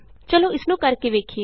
ਚਲੋ ਇਸ ਨੂੰ ਕਰ ਕੇ ਵੇਖੀਏ